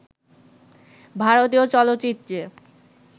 ভারতীয় চলচ্চিত্রে